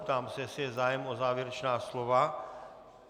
Ptám se, jestli je zájem o závěrečná slova.